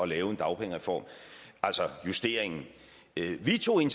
lave en dagpengereform altså justeringen vi tog